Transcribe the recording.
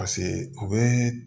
Paseke u bɛ